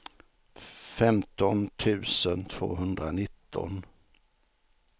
femton tusen tvåhundranitton